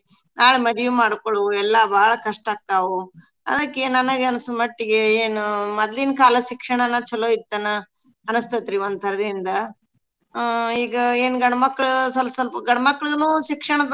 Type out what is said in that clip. ನಾಳೇ ಮದ್ವಿ ಮಾಡ್ಕೊಳವು ಎಲ್ಲಾ ಬಾಳ್ ಕಸ್ಟ ಆಕ್ಕಾವು ಅದ್ಕ ನನ್ಗ್ ಅನ್ಸೋ ಮಟ್ಟೀಗೆ ಏನೂ ಮದ್ಲಿನ್ ಕಾಲದ್ ಶಿಕ್ಷಣನ ಚೊಲೋ ಇತ್ತನ ಅನ್ಸ್ತತ್ರೀ ಒಂದ್ ತರದಿಂದ. ಅ ಈಗ ಏನ್ ಗಂಡ್ಮಕ್ಳ್ ಸಲ್ಪ ಸಲ್ಪ ಗಂಡ್ಮಕ್ಳೂನೂ ಶಿಕ್ಷಣದ್ ಬಗ್ಗೆ.